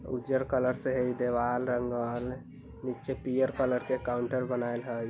उजर कलर से है दीवाल रंगल नीचे पियर कलर के काउंटर बनइल हई ।